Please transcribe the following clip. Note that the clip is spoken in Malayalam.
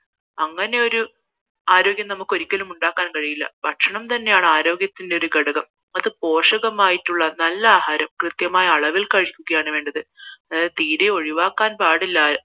അങ്ങനെയൊരു ആരോഗ്യം നമുക്കൊരിക്കലും ഉണ്ടാക്കാൻ കഴിയില്ല ഭക്ഷണം തന്നെയാണ് ആരോഗ്യത്തിന്റെ ഒരു ഘടകം അതു പോഷകമായിട്ടുള്ള നല്ല ആഹാരം കൃത്യമായ അളവിൽ കഴിക്കുകയാണ് വേണ്ടത് അതായത് തീരെ ഒഴിവാക്കാൻ പാടില്ല